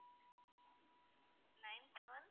nine seven